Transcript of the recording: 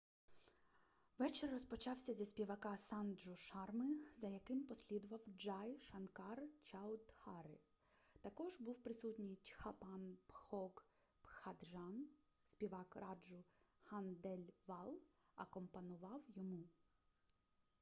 вечір розпочався зі співака санджу шарми за яким послідував джай шанкар чаудхари також був присутній чхапан бхог бхаджан співак раджу хандельвал акомпанував йому